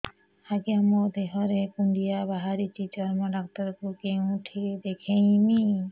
ଆଜ୍ଞା ମୋ ଦେହ ରେ କୁଣ୍ଡିଆ ବାହାରିଛି ଚର୍ମ ଡାକ୍ତର ଙ୍କୁ କେଉଁଠି ଦେଖେଇମି